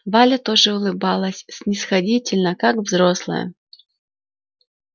валя тоже улыбалась снисходительно как взрослая